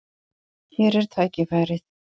Hér er tækifærið.